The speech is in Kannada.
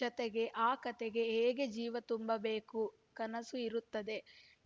ಜತೆಗೆ ಆ ಕತೆಗೆ ಹೇಗೆ ಜೀವ ತುಂಬಬೇಕು ಕನಸು ಇರುತ್ತದೆ